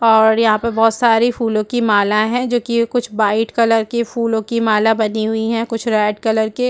और यहाँ पर बहुत सारी फूलों की माला है जो कि कुछ वाइट कलर के फूलों की माला बनी हुई है कुछ रेड कलर के --